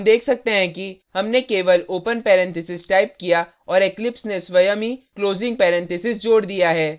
हम देख सकते हैं कि हमने केवल open parentheses type किया और eclipse ने स्वयं ही closing parentheses जोड दिया है